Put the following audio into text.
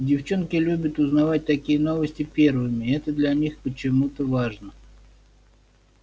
девчонки любят узнавать такие новости первыми это для них почему-то важно